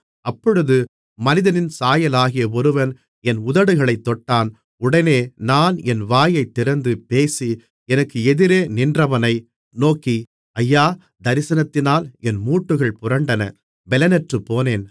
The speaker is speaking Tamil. அப்பொழுது மனிதனின் சாயலாகிய ஒருவன் என் உதடுகளைத் தொட்டான் உடனே நான் என் வாயைத் திறந்து பேசி எனக்கு எதிரே நின்றவனை நோக்கி ஐயா தரிசனத்தினால் என் மூட்டுகள் புரண்டன பெலனற்றுப்போனேன்